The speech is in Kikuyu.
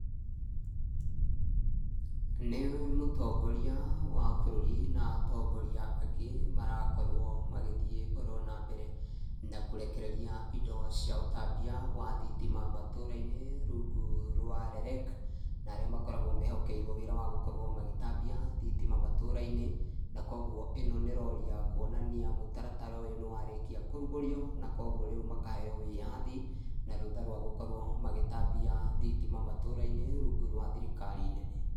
Nĩ mũtongoria wa bũrũri na atongoria angĩ marakorwo magĩthiĩ oro na mbere na kũrekereria indo cia ũtambia wa thitima matũũra-inĩ rungu rwa REREC. Na arĩa makoragwo mehokerwo wĩra wa gũkorwo magĩtambia thitima matũũra-inĩ, na kũguo ĩno nĩ rori ya kuonania mũtaratara ũyũ nĩ warĩkia kũrugũrio, na kũguo rĩu makaheyo wĩyathi, na rũtha rwa gũkorwo magĩtambia thitima matũũra-inĩ, rungu rwa thirikari nene.